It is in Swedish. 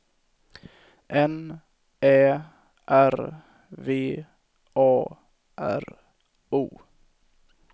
N Ä R V A R O